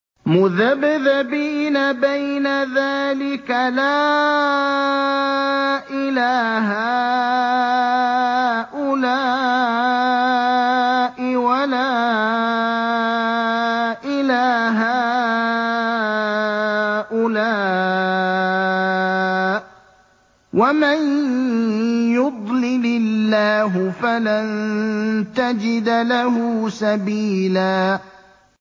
مُّذَبْذَبِينَ بَيْنَ ذَٰلِكَ لَا إِلَىٰ هَٰؤُلَاءِ وَلَا إِلَىٰ هَٰؤُلَاءِ ۚ وَمَن يُضْلِلِ اللَّهُ فَلَن تَجِدَ لَهُ سَبِيلًا